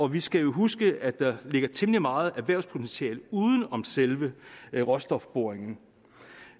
vi skal jo huske at der ligger temmelig meget erhvervspotentiale uden om selve råstofboringerne